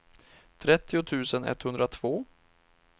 trettio tusen etthundratvå